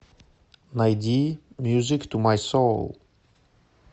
найди мьюзик ту май соул